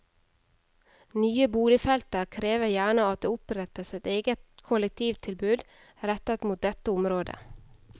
Nye boligfelter krever gjerne at det opprettes et eget kollektivtilbud rettet mot dette området.